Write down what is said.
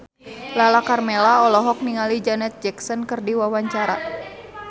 Lala Karmela olohok ningali Janet Jackson keur diwawancara